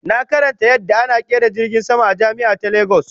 Na karanta yadda ana kera jirgin sama a jami'a ta Lagos